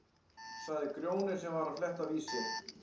sagði Grjóni sem var að fletta Vísi.